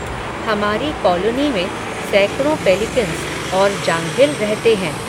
हमारी कॉलोनी में, सैकड़ो पेलिकन्स, और जांघिल रहते हैं